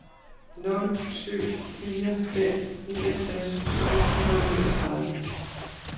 nul syv fire fem niogtres otte hundrede og niogtredive